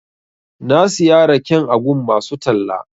Na siya raken a gun masu talla.